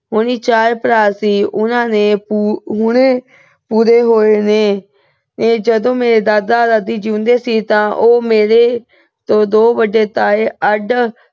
ਹੋਨੀ ਚਾਰ ਭਰਾ ਸੀ। ਉਹ ਹੁਣੇ ਪੂਰੇ ਹੋਏ ਨੇ। ਜਦੋਂ ਮੇਰੇ ਦਾਦਾ-ਦਾਦੀ ਜਿਉਂਦੇ ਸੀ, ਮੇਰੇ ਦੋ ਵੱਡੇ ਤਾਏ ਅੱਡ